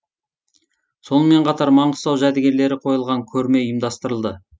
сонымен қатар маңғыстау жәдігерлері қойылған көрме ұйымдастырылды